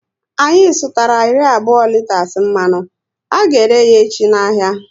Anyị sutara iri abụọ riters mmanụ, a ga ere yá echi n'ahia